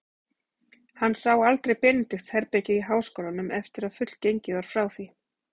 Hann sá aldrei Benedikts-herbergið í háskólanum, eftir að fullgengið var frá því.